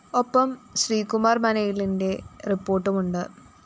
ഒപ്പം ശ്രീകുമാര്‍ മനയിലിന്റെ റിപ്പോര്‍ട്ടുമുണ്ട്‌